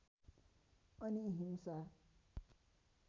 अनि हिंसा